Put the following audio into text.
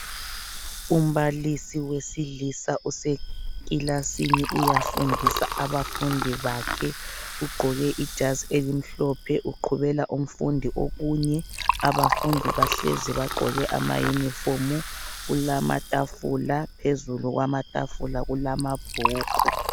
Umbalisi wesilisa usekilasini uyafundisa abafundi bakhe, ugqoke ijazi elimhlophe uqhubela umfundi okunye. Abafundi bahlezi bagqoke ama yunifomu, kulamatafula phezulu kwamatafula kulamabhuku.